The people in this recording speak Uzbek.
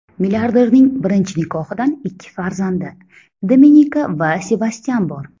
Milliarderning birinchi nikohidan ikki farzandi Dominika va Sebastyan bor.